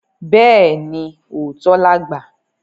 Bẹ́ẹ̀ni, òótọ́ làgbà